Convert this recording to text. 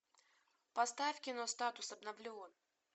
поставь кино статус обновлен